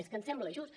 és que ens sembla just